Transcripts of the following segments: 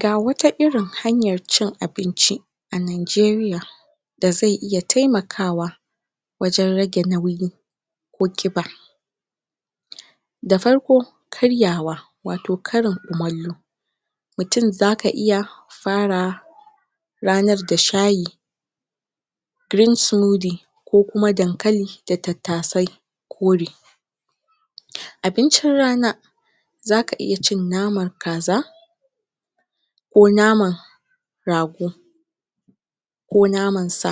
ga wata irin hanyan cin abin ci a Nigeria da zai iya taimakawa wajen rage nauyi ko kiba da farko karyawa wato karin kumallo mutun zaka iya fara ranar da shayi green synudy ko kuma dankali da tattasai kore abin cin rana zaka iya cin naman kaza ko naman rago ko naman sa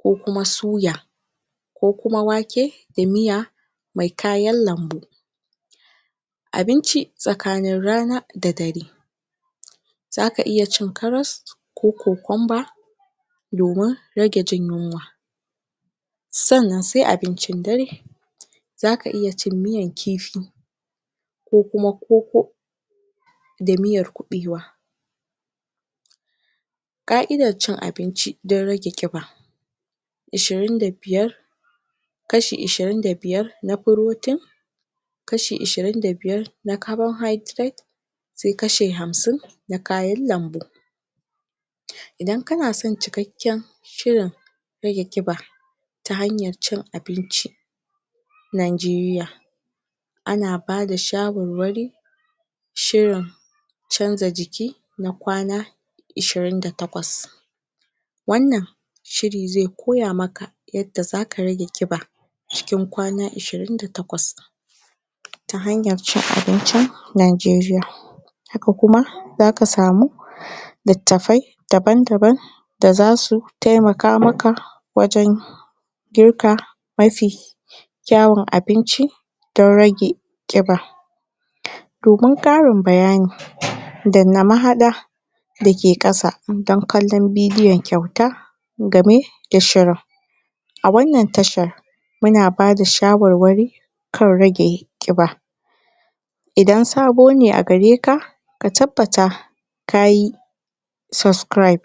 ko kuma suya ko kuma wake da miya mai kayan lambu abin ci tsakanin rana da dare zaka iya cin karas ko kokonba domin rage jinyunwa san nan sai abincin dare zaka iya cin nmiyan kifi ko kuma koko da miyan kubewa ka'idan cin abinci dan rage kiba ishirin da biyar kashi irin da biyar na protein kashi ishirin da biyar na caborhydred sai kashi hamsin na kayan lanbu idan kana son cikakken shirin rage kiba ta hanyan cin abin ci Nigeria ana ba da shawarwari shirin chanja jiki na kwana ishirin da takwas wan nan shiri zai koyamaka yadda zaka rage kiba cikin kwana ishirin da takwas ta hanyan ncin abincin Nigeria haka kuma zaka samu littatafai daban daban da za su taimakamaka wajen girka mafi kyawun abinci dan rage kiba domin karinnbayani dan na mahada dake kasa don bidiyon kyauta game da shirin awan nan tashan muna bada shawarwari kan rage kiba idan sabo ne a gareka ka tabbata kayi tayi subcribe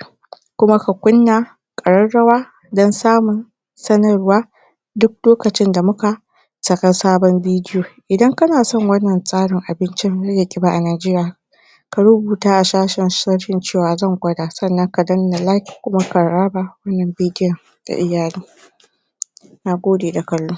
kuma ka kunna kararrawa dan samun sanarwa duk lokacin da muka sake sabon bidiyo idan ka na son wan nan tsarin abin rage kiba a Nigeria a rubuta shafin sugery cewan zan kwata kuma ka danna like kuma ka raba wan nan bidiyon ga iyali na gode da kallo